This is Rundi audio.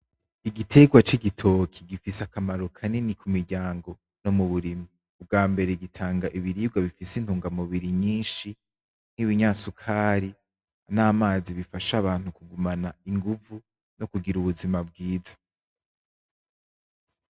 Igiterwa c'igitoke gifise akamaro kanini kumiryango nomuburimyi, bw'ambere gitanga ibiribwa gifise intungamubiri nyinshi nibinyasukari namazi bifasha abantu kugumana inguvu kugira ubuzima bwiza.